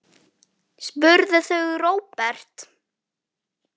spurðu þau Róbert.